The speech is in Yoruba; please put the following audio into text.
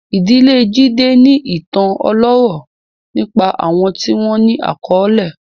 Ìdílé Jide ní ìtàn ọlọ́rọ̀ nípa àwọn tí wọ́n ní àkọlé.